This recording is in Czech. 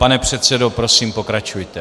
Pane předsedo, prosím, pokračujte.